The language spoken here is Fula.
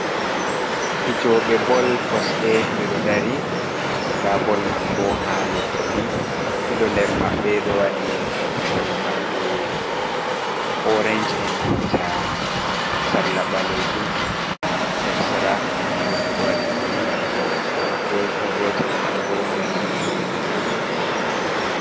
"Fijoɓe bol" kosɗe ɓeɗo dari nɗa bol man bo ha leddi ɗiɗo nder maɓɓe ɗo wadi toggore maɓɓe oranche enanta sarla ɓalejum hercsera gotel bo waɗi bulu gotel man bo danejum.